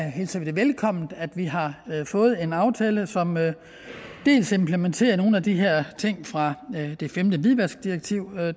hilser vi det velkommen at vi har fået en aftale som implementerer nogle af de her ting fra femte hvidvaskdirektiv